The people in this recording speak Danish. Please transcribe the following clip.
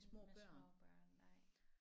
Med små børn nej